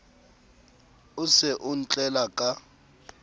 o se o ntlela ka